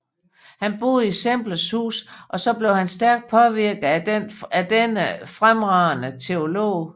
Han boede i Semlers hus og blev stærkt påvirket af denne fremragende teolog